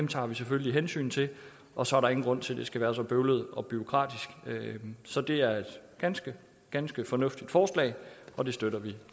tager vi selvfølgelig hensyn til og så er der ingen grund til at det skal være så bøvlet og bureaukratisk så det er et ganske ganske fornuftigt forslag og det støtter vi